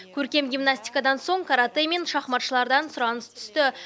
көркем гимнаситикадан соң каратэ мен шахматшылардан сұраныс түсті